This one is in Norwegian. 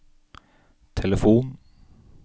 telefon